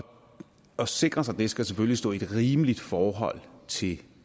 at sikre sig det skal selvfølgelig stå i et rimeligt forhold til